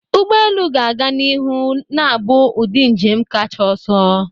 Ụgbọ elu ga-aga n'ihu na-abụ ụdị njem kacha ọsọ.